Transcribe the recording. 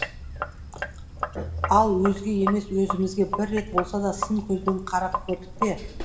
ал өзге емес өзімізге бір рет болса да сын көзбен қарап көрдік пе